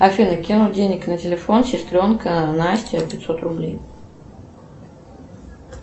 афина кинуть денег на телефон сестренка настя пятьсот рублей